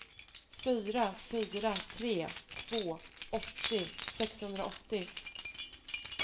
fyra fyra tre två åttio sexhundraåttio